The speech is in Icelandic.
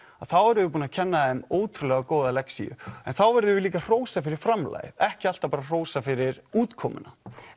að þá erum við búin að kenna þeim ótrúlega góða lexíu en þá verðum við líka að hrósa fyrir framlagið ekki alltaf bara hrósa fyrir útkomuna